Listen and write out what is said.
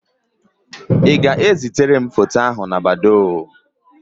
Ị ga-ẹzitara m foto ahụ na Badoo?